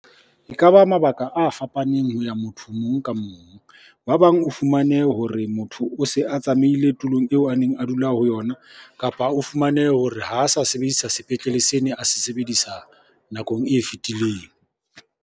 Ekaba mabaka a fapaneng ho ya motho mong ka mong. Ba bang o fumane hore motho o se a tsamaile tulong eo a neng a dula ho yona, kapa o fumane hore ha a sa sebedisa sepetlele se ne a se sebedisa nakong e fetileng.